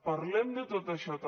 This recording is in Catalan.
parlem de tot això també